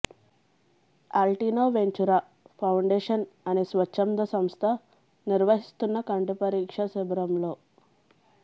Altino Ventura foundation అనే స్వచ్ఛంద సంస్థ నిర్వహిస్తున్న కంటి పరీక్ష శిబిరంలో